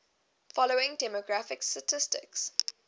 following demographic statistics